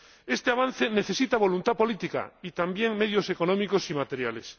Este avance necesita voluntad política, y también medios económicos y materiales.